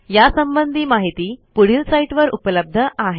यासंबंधी माहिती पुढील साईटवर उपलब्ध आहे